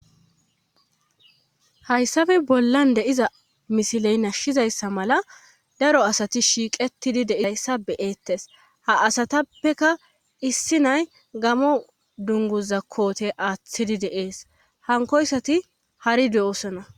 Hayssafe bollan de'iza misiley nashshizayssa mala daro asati shiiqetidi de'iyayssa beeettes. ha asatappeka issi nay gamo dunguza koote aaththidi deees. hankoyssati hari de'oosona